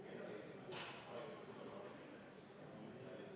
V a h e a e g